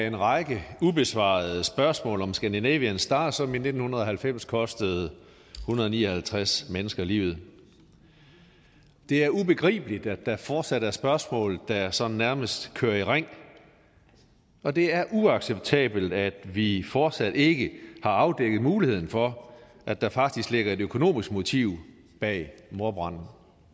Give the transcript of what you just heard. en række ubesvarede spørgsmål om scandinavian star som i nitten halvfems kostede en hundrede og ni og halvtreds mennesker livet det er ubegribeligt at der fortsat er spørgsmål der sådan nærmest kører i ring og det er uacceptabelt at vi fortsat ikke har afdækket muligheden for at der faktisk ligger et økonomisk motiv bag mordbranden